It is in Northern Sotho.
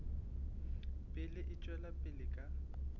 pele e tšwela pele ka